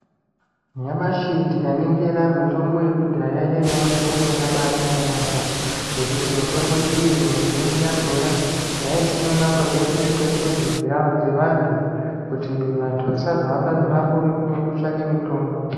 Nyamashi tikaningira mitombo yekudhaya yaiya mitombo yakabaanaka yaambo ngekuti mitombo iyi mizhinji yachona yaisimwa paberere pemuzi dzevantu kuti vantu vasazohamba mimango mikuru kutsvake mitombo.